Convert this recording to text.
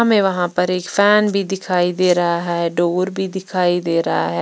हमें वहां पर एक फैन भी दिखाई दे रहा है डोर भी दिखाई दे रहा है।